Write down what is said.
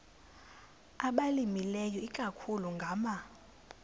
abalimileyo ikakhulu ngama